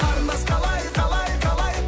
қарындас қалай қалай қалай